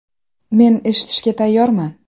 Men eshitishga tayyorman.